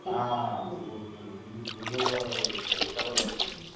हा. खूप खूप. म्हणजे पूर्ण एखाद